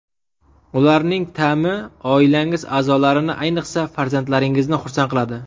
Ularning ta’mi oilangiz a’zolarini, ayniqsa farzandlaringizni xursand qiladi.